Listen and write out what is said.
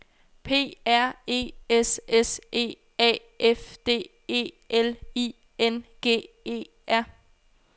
P R E S S E A F D E L I N G E R